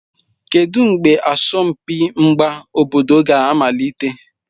Kedu mgbe asọmpi mgba obodo ga-amalite?